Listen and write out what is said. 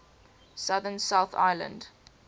southern south island